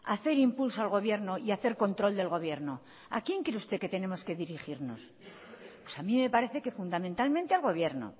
hacer impulso al gobierno y hacer control del gobierno a quién cree usted que tenemos que dirigirnos pues a mí me parece que fundamentalmente al gobierno